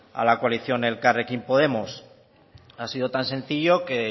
a la coalición elkarrekin podemos ha sido tan sencillo que